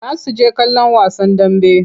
Za su je kallon wasan dambe.